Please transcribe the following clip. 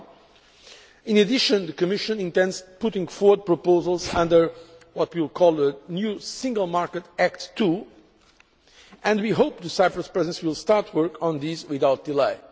1. In addition, the Commission intends putting forward proposals under what we call the new Single Market Act 2, and we hope the Cyprus Presidency will start work on these without delay.